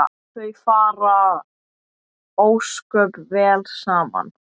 Þau fara ósköp vel saman